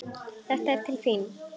Þetta er til þín